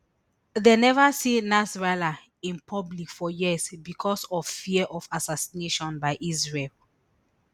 dem neva see nasrallah in public for years becos of fear of assassination by israel